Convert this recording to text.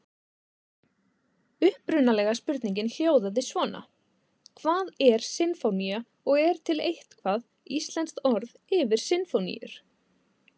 Upprunalega spurningin hljóðaði svona: Hvað er sinfónía og er til eitthvað íslenskt orð yfir sinfóníur?